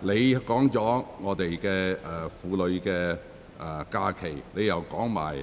你已談及香港婦女的假期、